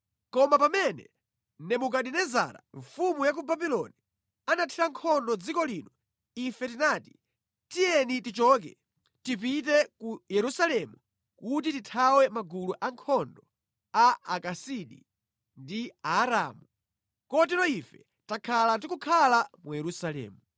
Koma pamene Nebukadinezara mfumu ya Babuloni anathira nkhondo dziko lino, ife tinati, ‘Tiyeni tichoke, tipite ku Yerusalemu kuti tithawe magulu ankhondo a Akasidi ndi Aaramu.’ Kotero ife takhala tikukhala mu Yerusalemu.”